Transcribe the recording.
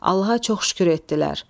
Allaha çox şükür etdilər.